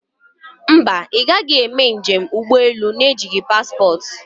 Mba, ị gaghị emenụ njem ụgbọ elu na ejighị paspportị